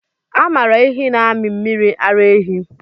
A maara ehi na-amị mmiri ara ehi.